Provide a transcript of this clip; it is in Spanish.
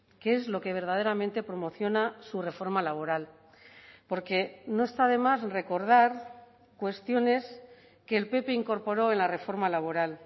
que es lo que verdaderamente promociona su reforma laboral porque no está de más recordar cuestiones que el pp incorporó en la reforma laboral